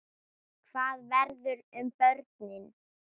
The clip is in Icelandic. Hvað verður um börnin?